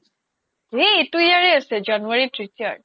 এই এইটো yearয়ে আছে january retired